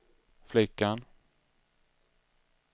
flickan